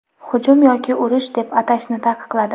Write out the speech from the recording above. hujum yoki urush deb atashni taqiqladi.